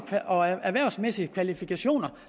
og erhvervsmæssige kvalifikationer